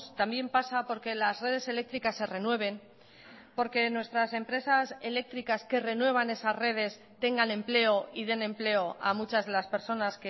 también pasa porque las redes eléctricas se renueven porque nuestras empresas eléctricas que renuevan esa redes tengan empleo y den empleo a muchas de las personas